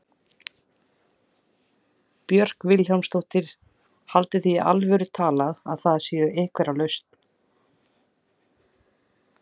Björk Vilhelmsdóttir: Haldið þið í alvöru talað að þið séuð einhver lausn?